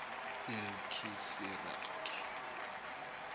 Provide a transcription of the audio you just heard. ilkhisiraki